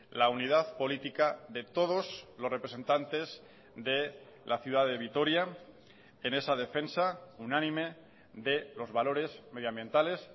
la unidad política de todos los representantes de la ciudad de vitoria en esa defensa unánime de los valores medioambientales